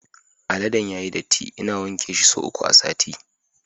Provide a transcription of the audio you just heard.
Aladen yayi datti, ina wanke shi sau uku a sati